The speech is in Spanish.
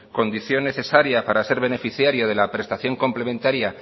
condición necesaria para ser beneficiario de la prestación complementaria